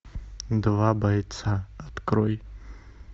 два бойца открой